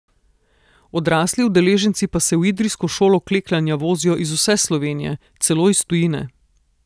Odrasli udeleženci pa se v idrijsko šolo kleklanja vozijo iz vse Slovenije, celo iz tujine.